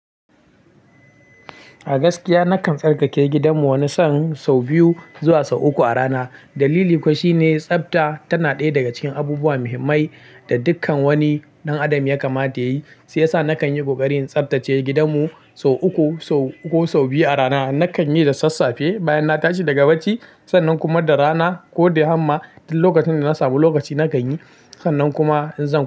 A gaskiya nakan tsarkake gidanmu wani sau biyu zuwa sau uku a rana. Dalili kuwa shine tsafta tana ɗaya daga cikin abubuwa muhimmai da dukkan wani ɗan adam ya kamata yayi. Shi ya sa nakan yi ƙoƙarin tsaftace gidanmu sau uku, sau uku ko sau biyu a rana. Nakan yi da sassafe bayan na tashi daga bacci, sannan kuma da rana ko da yamma duk lokacin da na samu lokaci na kanyi. Sannan kuma in zan.